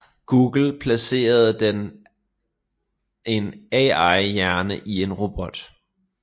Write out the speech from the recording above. Google placerede en AI hjerne i en robot